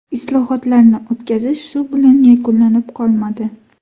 Islohotlarni o‘tkazish shu bilan yakunlanib qolmadi.